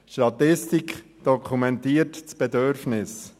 Eine Statistik dokumentiert das Bedürfnis.